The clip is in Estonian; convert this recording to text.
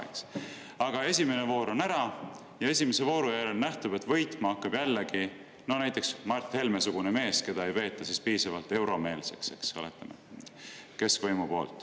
Kujutagem ette, et esimene voor on ära ja selle järel nähtub, et võitma hakkab näiteks Mart Helme sugune mees, keda ei peeta keskvõimu poolt piisavalt euromeelseks, eks ole.